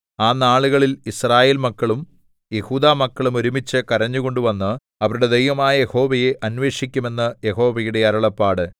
ആ നാളുകളിൽ യിസ്രായേൽമക്കളും യെഹൂദാമക്കളും ഒരുമിച്ച് കരഞ്ഞുകൊണ്ട് വന്ന് അവരുടെ ദൈവമായ യഹോവയെ അന്വേഷിക്കും എന്ന് യഹോവയുടെ അരുളപ്പാട്